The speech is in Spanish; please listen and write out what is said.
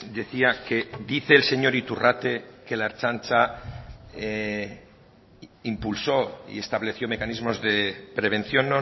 decía que dice el señor iturrate que la ertzaintza impulsó y estableció mecanismos de prevención